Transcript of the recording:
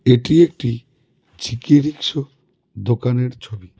এটি একটি G K রিক্সো দোকানের ছবি.